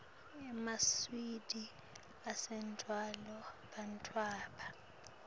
emaswidi atsanduwa bantfwana